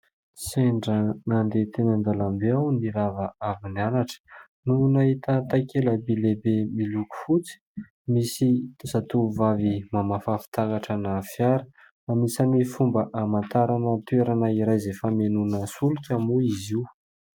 Sendra nandeha teny an-dalambe aho, nirava avy nianatra no nahita takela-by lehibe miloko fotsy, misy zatovovavy mamafa fitaratra ana fiara. Anisany fomba amantarana toerana iray izay famenoana solika moa izy io.